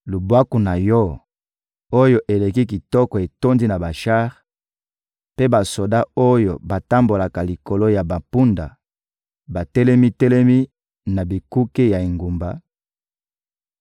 Lubwaku na yo, oyo eleki kitoko etondi na bashar, mpe basoda oyo batambolaka likolo ya bampunda batelemi-telemi na bikuke ya engumba;